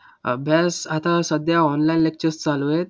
अभ्यास. आता सध्या online lectures चालू आहेत.